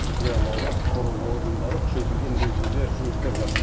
иә лаура құқық қорғау органдары күшейтілген режимде жұмыс істеп жатыр